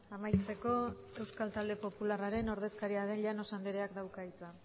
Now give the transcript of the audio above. amaitzeko euskal talde popularreraren ordezkaria den llanos andreak dauka hitza